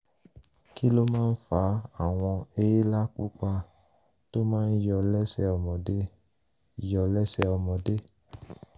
kí ló máa ń fa àwọn èélá pupa tó máa ń yọ lẹ́sẹ̀ ọmọdé? yọ lẹ́sẹ̀ ọmọdé?